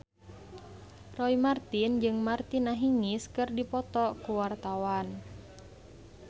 Roy Marten jeung Martina Hingis keur dipoto ku wartawan